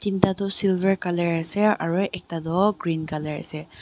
thinta toh silver colour ase aro ekta toh green colour ase.